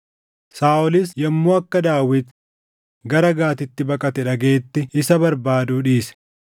Saaʼolis yommuu akka Daawit gara Gaatitti baqate dhagaʼetti isa barbaaduu dhiise.